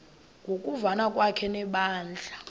ngokuvana kwakhe nebandla